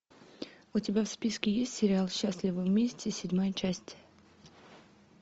у тебя в списке есть сериал счастливы вместе седьмая часть